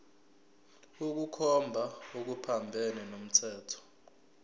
ukukhomba okuphambene nomthetho